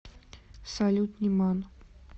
салют ниман